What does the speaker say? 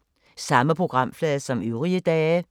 Samme programflade som øvrige dage